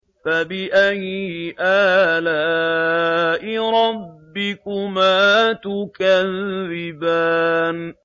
فَبِأَيِّ آلَاءِ رَبِّكُمَا تُكَذِّبَانِ